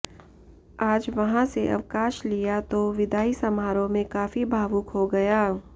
आज वहां से अवकाश लिया तो विदाई समारोह में काफी भावुक हो गया